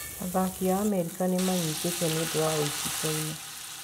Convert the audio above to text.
Athaki a Amerika nimanyitetwo niundũ wa wĩici China.